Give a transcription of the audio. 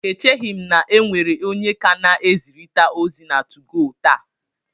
Echeghị m na e nwere onye ka na-ezirịta ozi na 2go taa